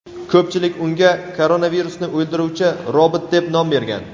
Ko‘pchilik unga koronavirusni o‘ldiruvchi robot deb nom bergan.